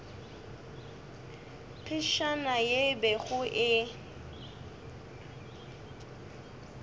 phefšana ye e bego e